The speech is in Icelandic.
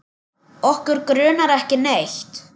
Okkur grunar ekki neitt.